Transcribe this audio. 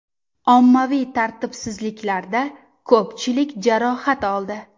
Ommaviy tartibsizliklarda ko‘pchilik jarohat oldi.